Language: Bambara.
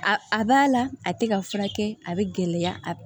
A a b'a la a tɛ ka furakɛ a bɛ gɛlɛya a